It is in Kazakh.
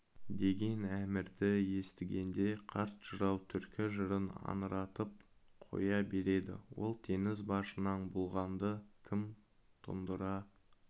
деген әмірді естігенде қарт жырау түркі жырын аңыратып қоя береді ол теңіз башынан бұлғанды кім тұндыра